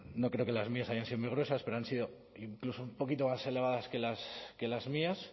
no creo que las mías hayan sido muy gruesas pero han sido incluso un poquito más elevadas que las mías